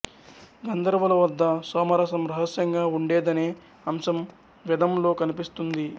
గంధర్వుల వద్ద సోమరసం రహస్యంగా ఉండేదనే అంశం వెదంలో కనిపిస్తుంది